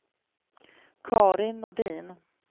Carin Nordin